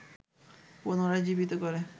পুনরায় জীবিত করে